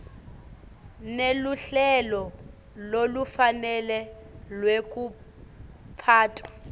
neluhlelo lolufanele lwekuphatfwa